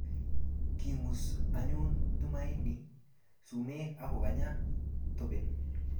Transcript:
Kingus anyun Tumaini sumek akokanya toben